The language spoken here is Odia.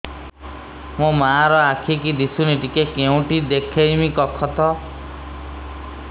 ମୋ ମା ର ଆଖି କି ଦିସୁନି ଟିକେ କେଉଁଠି ଦେଖେଇମି କଖତ